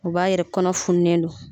U b'a yɛrɛ kɔnɔ fununen do.